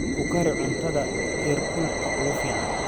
Ku kari cuntada heerkulka ugu fiican.